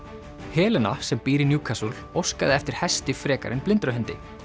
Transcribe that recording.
Helena sem býr í óskaði eftir hesti frekar en blindrahundi